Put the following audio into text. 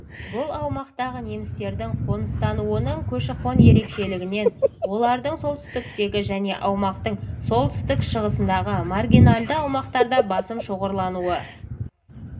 бұл аумақтағы немістердің қоныстануының көші-қон ерекшелігінен олардың солтүстіктегі және аумақтың солтүстік-шығысындағы маргинальды аумақтарда басым шоғырлануы